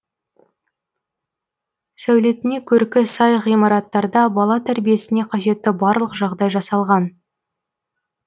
сәулетіне көркі сай ғимараттарда бала тәрбиесіне қажетті барлық жағдай жасалған